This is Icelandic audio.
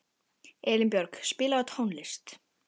Elínbjörg, spilaðu tónlist.